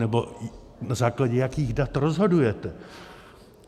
Nebo na základě jakých dat rozhodujete?